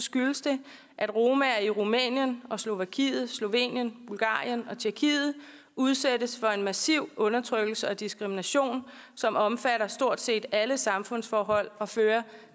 skyldes det at romaer i rumænien og slovakiet slovenien bulgarien og tjekkiet udsættes for massiv undertrykkelse og diskrimination som omfatter stort set alle samfundsforhold og fører